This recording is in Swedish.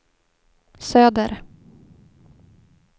söder